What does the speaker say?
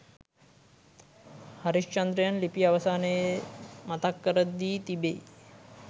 හරිශ්චන්ද්‍රයන් ලිපිය අවසානයේ මතක් කර දී තිබෙයි.